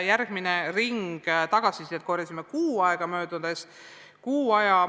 Järgmise ringi tagasisidet korjasime kuu aja möödudes.